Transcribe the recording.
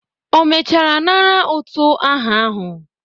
O mechara nara utu aha ahụ?